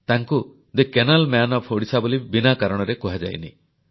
ତାଙ୍କୁ the canal man of Odisha ବୋଲି ବିନା କାରଣରେ କୁହାଯାଇନି